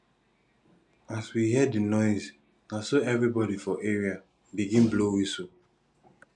as we hear di noise na so everybodi for area begin blow wistle